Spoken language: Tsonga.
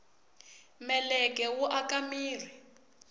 meleke wu aka mirhi